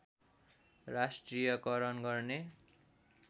राष्ट्रियकरण गर्ने